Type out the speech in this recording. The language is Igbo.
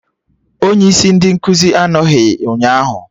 Onye isi ndị nkụzi anọghị ụnyaahụ